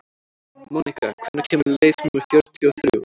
Mónika, hvenær kemur leið númer fjörutíu og þrjú?